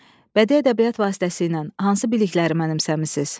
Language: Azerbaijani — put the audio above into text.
Bədii ədəbiyyat vasitəsilə hansı bilikləri mənimsəmisiniz?